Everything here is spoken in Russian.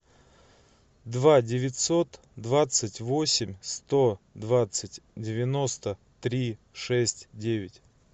два девятьсот двадцать восемь сто двадцать девяносто три шесть девять